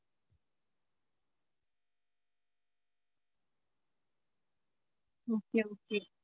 Okay okay